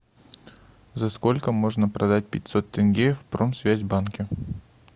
за сколько можно продать пятьсот тенге в промсвязьбанке